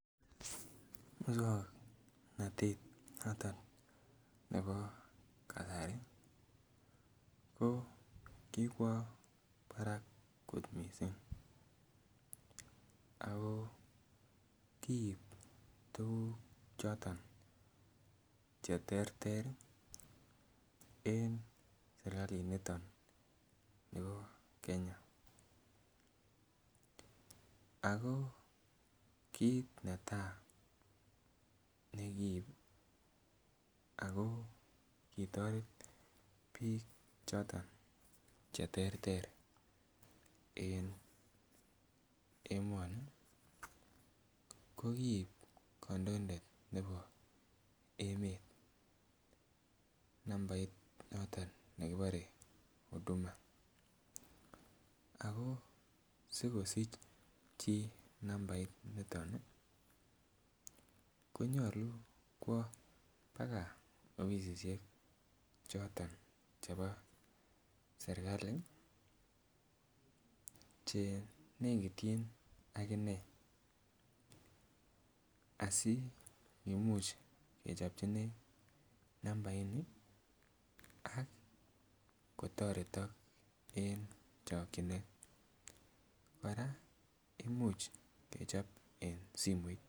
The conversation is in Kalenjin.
Muswongnotet noton nebo kasari ko kikwo barak kot missing ako kiit tuguk choton cheterter en serkalit niton nebo Kenya ako kit netaa nekiib ako kitoret biik choton cheterter en emoni ko kii kandoindet nebo emet nambait noton nekibore huduma ako sikosich chii nambait niton konyolu kwo baka ofisisiek choton chebo serkali chenekityin ak inee asikimuch kechopchi inee nambait ni ak kotoretok en chokyinet kora imuch kechop en simoit